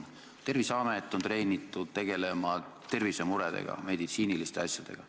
Terviseamet on treenitud tegelema tervisemuredega, meditsiiniliste asjadega.